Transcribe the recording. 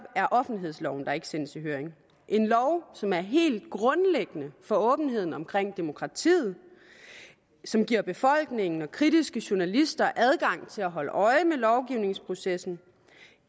er offentlighedsloven der ikke sendes i høring en lov som er helt grundlæggende for åbenheden omkring demokratiet og som giver befolkningen og kritiske journalister adgang til at holde øje med lovgivningsprocessen